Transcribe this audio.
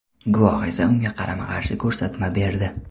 Guvoh esa unga qarama-qarshi ko‘rsatma berdi.